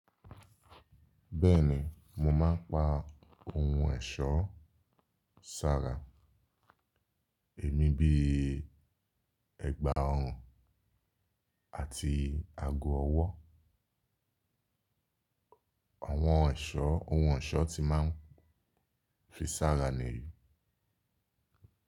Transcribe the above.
Bẹ́ẹ̀ni, mo máa ń pa ohun ẹ̀ṣoọ́ sára. Èmi bíi ẹgba ọrùn àti ago ọwọ́. Àwọn ẹ̀ṣọ́ ohun ẹ̀ṣọ́ tí máa ń fi sára nìyí.